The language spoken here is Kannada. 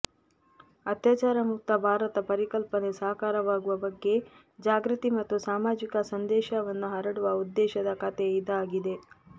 ಅತ್ಯಾಚಾರ ಮುಕ್ತ ಭಾರತ ಪರಿಕಲ್ಪನೆ ಸಾಕಾರವಾಗುವ ಬಗ್ಗೆ ಜಾಗೃತಿ ಮತ್ತು ಸಾಮಾಜಿಕ ಸಂದೇಶವನ್ನು ಹರಡುವ ಉದ್ದೇಶದ ಕಥೆ ಇದಾಗಿದೆ